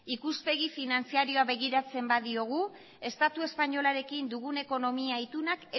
ikuspegi finantzarioa begiratzen badiogu estatu espainolarekin dugun ekonomia itunak